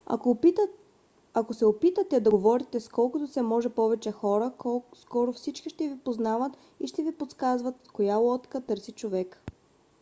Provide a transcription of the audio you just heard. ако се опитате се да говорите с колкото се може повече хора скоро всички ще ви познават и ще ви подсказват коя лодка търси човек